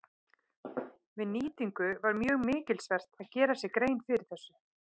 Við nýtingu var mjög mikilsvert að gera sér grein fyrir þessu.